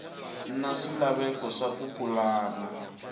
na swilaveko swa ku pulana